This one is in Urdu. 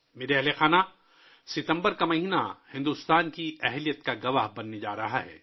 میرے پریوار جَن ، ستمبر کا مہینہ بھارت کی صلاحیتوں کا گواہ ہونے والا ہے